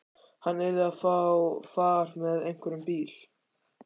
Hann yrði að fá far með einhverjum bíl.